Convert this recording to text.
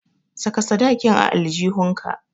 Saka sadakin a aljihunka.